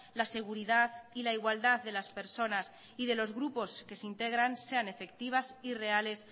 la seguridad y la igualdad de las personas y de los grupos que se integran sean efectivas y reales